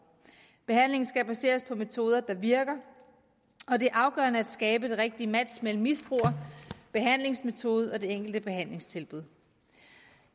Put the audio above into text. behandlingen skal baseres på metoder der virker og det er afgørende at skabe det rigtige match mellem misbruger behandlingsmetode og det enkelte behandlingstilbud